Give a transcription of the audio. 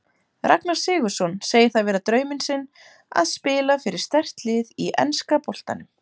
Ragnar Sigurðsson segir það vera drauminn sinn að spila fyrir sterkt lið í enska boltanum.